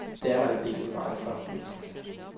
Det er der en del i vejen for.